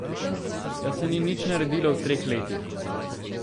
Da se ni nič naredilo v treh letih!